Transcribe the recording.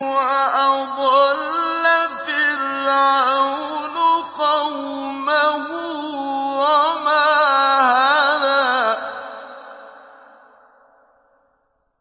وَأَضَلَّ فِرْعَوْنُ قَوْمَهُ وَمَا هَدَىٰ